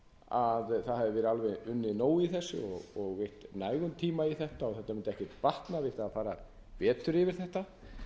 að það hafi verið unnið alveg nóg í þessu og eytt nægum tíma í þetta og þetta mundi ekkert batna við það að fara betur yfir þetta